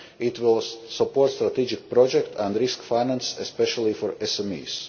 It will support strategic project and risk finance, especially for